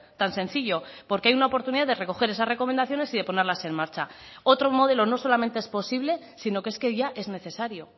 tan sencillo porque hay una oportunidad de recoger esas recomendaciones y de ponerlas en marcha otro modelo no solamente es posible sino que es que ya es necesario